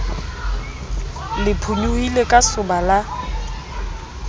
le phonyohile ka soba la